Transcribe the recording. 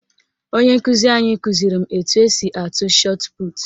Onye nkụzi anyị kụziri m etu esi atụ shọtputu